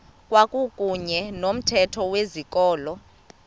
kwakuyne nomthetho wezikolo